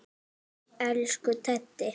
Elsku Teddi.